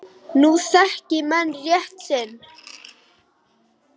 Nú þekki menn rétt sinn.